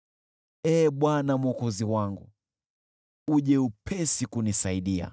Ee Bwana Mwokozi wangu, uje upesi kunisaidia.